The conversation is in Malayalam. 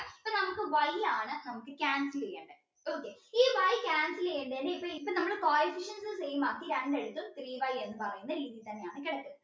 നമുക്ക് Y ആണ് നമുക്ക് cancel ചെയ്യേണ്ടേ അപ്പം ഈ y cancel ചെയ്യേണ്ടേന് ഇപ്പൊ നമ്മള് coefficients same ആക്കി രണ്ടിടത്തും three y എന്ന് പറയുന്ന രീതിയിൽ തന്നെയാണ് കിടക്കുന്നത്